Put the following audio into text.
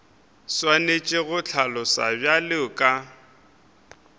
swanetše go hlaloswa bjalo ka